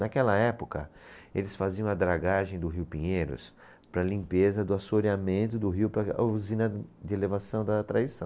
Naquela época, eles faziam a dragagem do rio Pinheiros para limpeza do assoreamento do rio para a usina de elevação da traição.